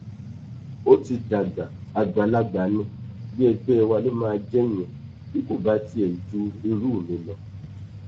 ó ti dàgbà àgbàlagbà ní bí ẹgbẹ wa ló máa jẹ ìyẹn bí kò bá tiẹ ju irú mi lọ